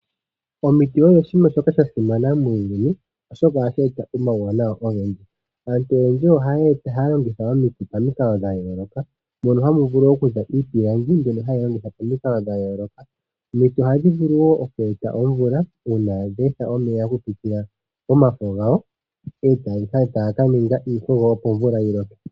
Omiti odho oshinima shoka sha simana muuyuni , oshoka ohashi eta omauwanawa ogendji. Aantu oyendji ohaya longitha omiti pamikalo dha yooloka mono hamu vulu okuza iipilangi mbyono hayi longithwa pamikalo dhayooloka. Omiti ohadhi vulu woo oku eta omvula uuna dhe etha omeya okupitila momafo gadho etaya kaninga iikogo opo omvula yiloke.